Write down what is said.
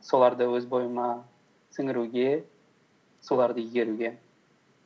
соларды өз бойыма сіңіруге соларды игеруге